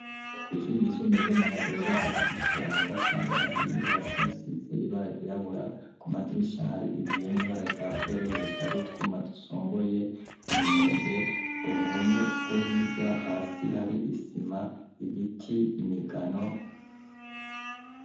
Kw'ishure ryisumbuye ry'umunyakabiriga gibakishije amatafari ayiye hasi hasitse ibara girabura ku matrisha hari ibiyo n'ibara rya fere hejura rutwuma dusongoye imyembe uruhome rwo hijya hasi hari isima ibiti imigano.